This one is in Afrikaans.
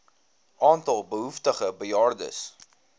aantal behoeftige bejaardes